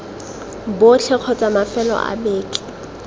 botlhe kgotsa mafelo a beke